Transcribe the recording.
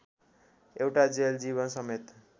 एउटा जेल जीवनसमेत